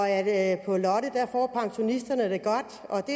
at på lotte får pensionisterne det godt